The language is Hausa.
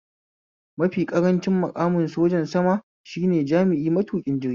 Mafi ƙarancin maƙamin sojan sama shine jami'i matuƙin jirgi